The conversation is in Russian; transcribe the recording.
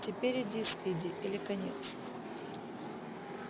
теперь или спиди или конец